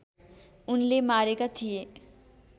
उनले मारेका थिए